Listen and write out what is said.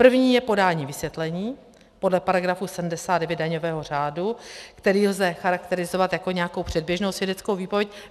První je podání vysvětlení podle paragrafu 79 daňového řádu, který lze charakterizovat jako nějakou předběžnou svědeckou výpověď.